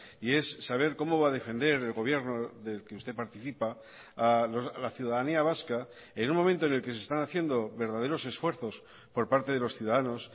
y es saber cómo va a defender el gobierno del que usted participa a la ciudadanía vasca en un momento en el que se están haciendo verdaderos esfuerzos por parte de los ciudadanos